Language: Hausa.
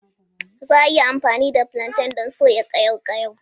Za a yi amfani da flantain don soya ƙayaw ƙayaw.